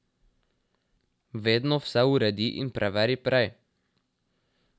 Vedno vse uredi in preveri prej.